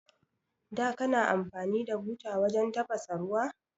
Da kana amfani da buta wajan tafasa ruwa?